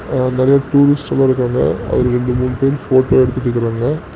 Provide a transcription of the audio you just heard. அ நெறைய டூரிஸ்ட் எல்லாம் இருக்காங்க அதுல ரெண்டு மூணு பேர் வந்து போட்டோ எடுத்துட்டுக்கறாங்க